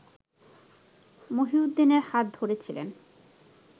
মহিউদ্দিনের হাত ধরে ছিলেন